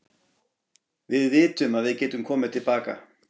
Við vitum að við getum komið til baka.